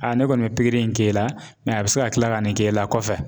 ne kɔni bɛ pikiri in k'e la a bɛ se ka kila ka nin k'e la kɔfɛ.